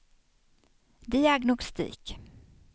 diagnostik